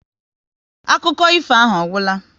Akụkọ ifo ahụ ọ gwụla?